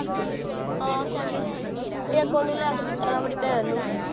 ਹਾਂ second hand ਇੱਕ ਓਹਨੂ ਲੈ ਕੇ ਦਿੱਤਾ ਆਪਣੀ ਭੈਣ ਨੂੰ